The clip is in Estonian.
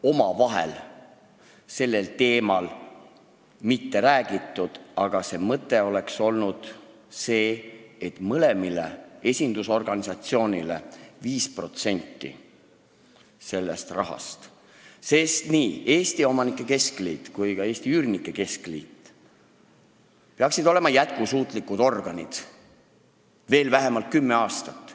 Omavahel sellel teemal ei räägitud, aga mõte oleks olnud see, et mõlemale esindusorganisatsioonile läheks 5% sellest rahast, sest nii Eesti Omanike Keskliit kui ka Eesti Üürnike Liit peaksid olema jätkusuutlikud organid veel vähemalt kümme aastat.